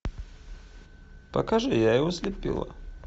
покажи я его слепила